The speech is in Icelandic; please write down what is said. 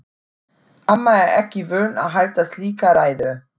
Amma er ekki vön að halda slíka ræðu.